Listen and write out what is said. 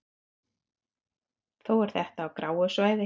Þó er þetta á gráu svæði.